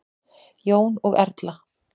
Jón og Erla.